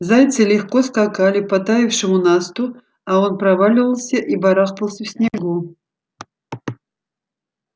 зайцы легко скакали по таявшему насту а он проваливался и барахтался в снегу